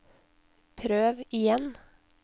prøv igjen